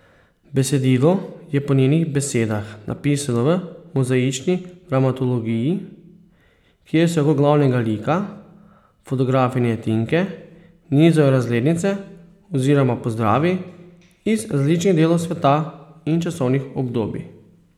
Besedilo je po njenih besedah napisano v mozaični dramaturgiji, kjer se okrog glavnega lika, fotografinje Tinke, nizajo razglednice oziroma pozdravi iz različnih delov sveta in časovnih obdobij.